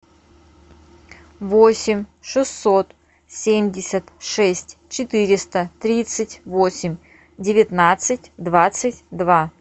восемь шестьсот семьдесят шесть четыреста тридцать восемь девятнадцать двадцать два